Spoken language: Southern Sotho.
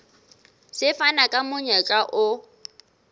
se fana ka monyetla o